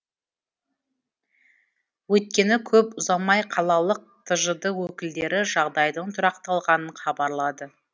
өйткені көп ұзамай қалалық тжд өкілдері жағдайдың тұрақталғанын хабарлады